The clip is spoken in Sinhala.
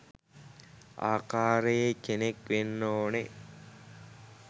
ආකාරයේ කෙනෙක් වෙන්න ඕන.